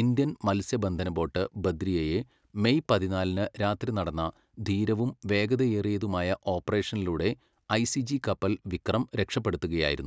Indian മൽസ്യ ബന്ധന boat ബദ്രിയയെ മേയ് പതിനാലിന് രാത്രി നടന്ന ധീരവും, വേഗതയേറിയതുമായ ഓപ്പറേഷനിലൂടെ ഐസിജി കപ്പൽ വിക്രം രക്ഷപ്പെടുത്തുകയായിരുന്നു.